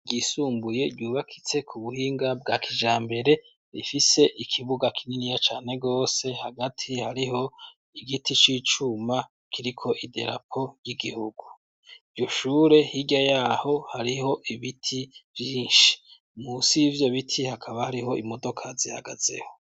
ryisumbuye ryubakitseko ubuhinga bwa kijambere rifise ikibuga kininiya cane gose hagati hariho igiti c'icuma kiriko idarapo ry'igihugu iryo shure hirya yaho hariho ibiti vyinshi munsi yibyo biti hakaba hariho imodoka zihagazeho